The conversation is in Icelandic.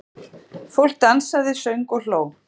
Fólk dansaði, söng og hló.